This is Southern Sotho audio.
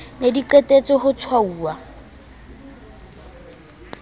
ne di qetetse ho tshwauwa